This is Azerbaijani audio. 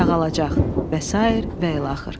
Sağalacaq və sair və ilaxır.